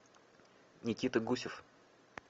никита гусев